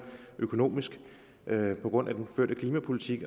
økonomisk på grund af den førte klimapolitik